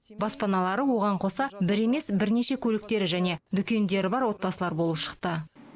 баспаналары оған қоса бір емес бірнеше көліктері және дүкендері бар отбасылар болып шықты